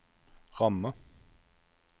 rammer